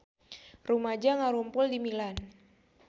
Rumaja ngarumpul di Milan